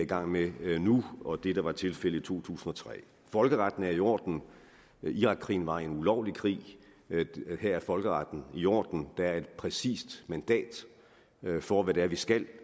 gang med nu og det der var tilfældet i to tusind og tre folkeretten er i orden nu irakkrigen var en ulovlig krig nu er folkeretten i orden der er et præcist mandat for hvad det er vi skal